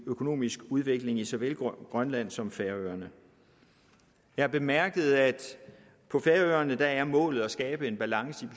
økonomiske udvikling i såvel grønland som på færøerne jeg bemærkede at på færøerne er målet at skabe en balance